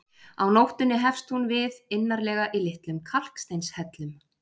Á nóttunni hefst hún við innarlega í litlum kalksteinshellum.